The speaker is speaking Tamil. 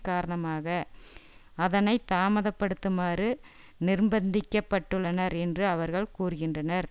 காரணமாக அதனை தாமதப்படுத்துமாறு நிர்ப்பந்திக்கப்பட்டுள்ளனர் என்று அவர்கள் கூறுகின்றனர்